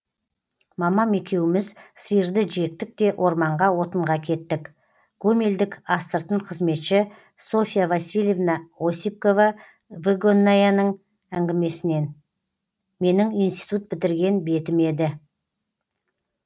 мамам екеуміз сиырды жектік те орманға отынға кеттік гомельдік астыртын қызметші софья васильевна осипкова выгоннаяның әңгімесінен менің институт бітірген бетім еді